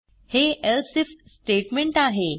हे else IF statement आहे